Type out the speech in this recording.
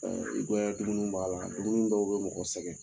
i goya dumuni b'a la, dumuni dɔw bɛ mɔgɔ sɛgɛn.